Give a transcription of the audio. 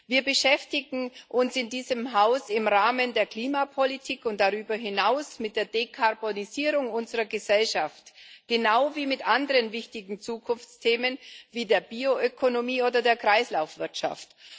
Wir beschäftigen uns in diesem Haus im Rahmen der Klimapolitik und darüber hinaus mit der Dekarbonisierung unserer Gesellschaft genau wie mit anderen wichtigen Zukunftsthemen wie der Bioökonomie oder der Kreislaufwirtschaft.